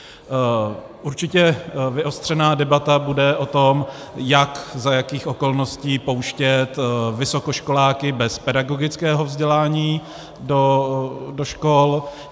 Určitě vyostřená debata bude o tom, jak, za jakých okolností pouštět vysokoškoláky bez pedagogického vzdělání do škol.